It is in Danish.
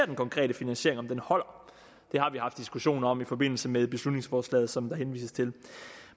den konkrete finansiering holder det har vi haft diskussioner om i forbindelse med beslutningsforslaget som der henvises til